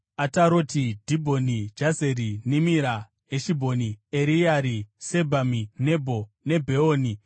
“Ataroti, Dhibhoni, Jazeri, Nimira, Heshibhoni, Ereare, Sebhami, Nebho neBheoni,